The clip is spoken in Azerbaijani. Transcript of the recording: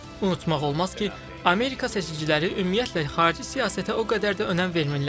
Unutmaq olmaz ki, Amerika seçiciləri ümumiyyətlə xarici siyasətə o qədər də önəm vermirlər.